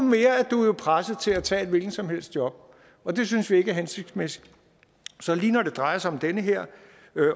presset til tage et hvilket som helst job og det synes vi ikke er hensigtsmæssigt så lige når det drejer sig om den her